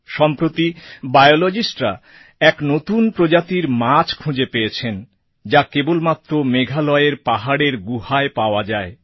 সম্প্রতি biologistরা এক নতুন প্রজাতির মাছ খুঁজে পেয়েছেন যা কেবলমাত্র মেঘালয়ের পাহাড়ের গুহায় পাওয়া যায়